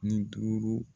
Ni duuru